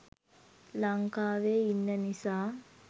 ලංකාවේ ඉන්න නිසා